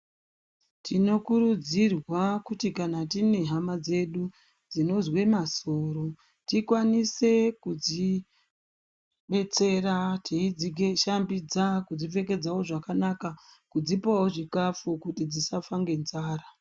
Tinokurudzirwa kuti kana tinehhama dzedu dzinozve masoro, tikwanise kudzibetsera tiyidzishambidza kudzipfekedzawo zvakanaka, kudzipowo zvikafu kuti dzisafa ngenzara.